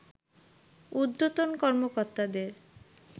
ঊর্ধ্বতন কর্মকর্তাদের